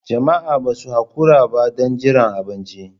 Jama'a ba su haƙura ba don jiran abinci.